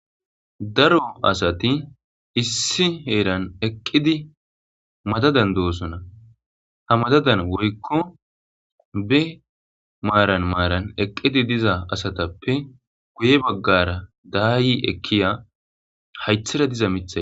Daro asati issi heran eqidi madadan dosona ha madadan wuriko be maran maran eqidi diza asatpe guye bagara dayi ekiya hathera diza mithay